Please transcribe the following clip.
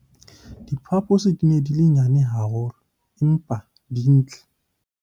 diphaposi di ne di le nnyane haholo empa di ntle